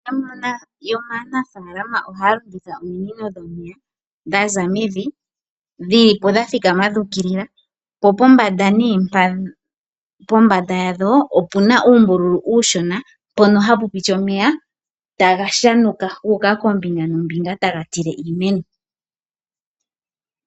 Yamwe yomaanafaalama ohaya longitha ominino dhomeya dhaza mevi dhilipo dha thikama dhu ukilila. Po pombanda nee yadho opena uumbululu uushona mpono hapu piti omeya taga shanuka guuka koombinga noombinga taga tile iimeni.